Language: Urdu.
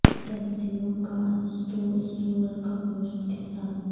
سبزیوں کا سٹو سور کا گوشت کے ساتھ